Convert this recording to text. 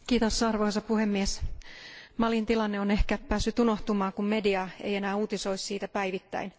Arvoisa puhemies, Malin tilanne on ehkä päässyt unohtumaan, kun media ei enää uutisoi siitä päivittäin.